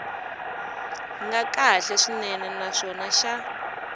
nga kahle swinene naswona xa